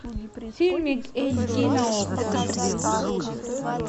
фильмик эйч ди на окко